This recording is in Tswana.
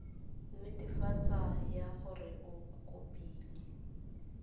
netefatso ya gore o kopile